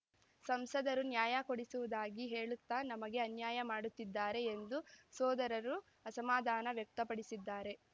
ಸಂಸದರು ನ್ಯಾಯ ಕೊಡಿಸುವುದಾಗಿ ಹೇಳುತ್ತಾ ನಮಗೆ ಅನ್ಯಾಯ ಮಾಡುತ್ತಿದ್ದಾರೆ ಎಂದು ಸೋದರರು ಅಸಮಾಧಾನ ವ್ಯಕ್ತಪಡಿಸಿದ್ದಾರೆ